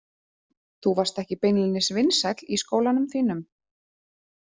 Þú varst ekki beinlínis vinsæll í skólanum þínum?